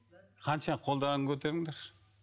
қанша қолдарыңды көтеріңдерші